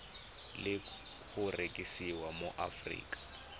le go rekisiwa mo aforika